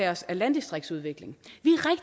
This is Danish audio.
os af landdistriktsudvikling